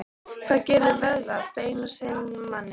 Hvað gerir vöðva, bein og sinar að manni?